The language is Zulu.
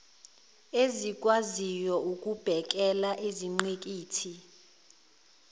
ezikwaziyo ukubhekela izingqikithi